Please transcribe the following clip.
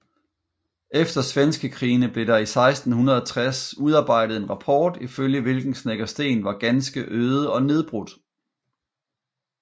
Efter svenskekrigene blev der i 1660 udarbejdet en rapport ifølge hvilken Snekkersten var ganske øde og nedbrudt